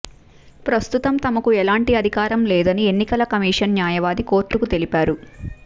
ప్రస్తుతం తమకు ఎలాంటి అధికారం లేదని ఎన్నికల కమిషన్ న్యాయవాది కోర్టుకు తెలిపారు